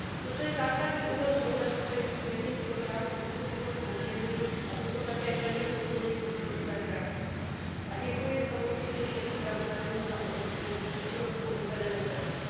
Toto je základní úhel pohledu, kterým směrnici o právech spotřebitelů poměřuji, a proto také plně podporuji postoj své frakce. A děkuji samozřejmě všem zpravodajům za obrovskou odvedenou práci.